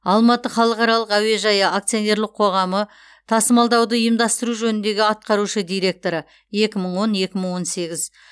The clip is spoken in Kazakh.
алматы халықаралық әуежайы акционерлік қоғамы тасымалдауды ұйымдастыру жөніндегі атқарушы директоры екі мың он екі мың он сегіз